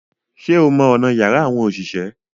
Ṣé o mọ ọ̀nà yàrá àwọn òṣìṣẹ́?